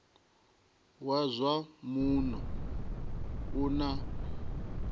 wa zwa muno u na